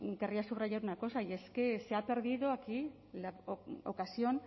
querría subrayar una cosa y es que se ha perdido aquí la ocasión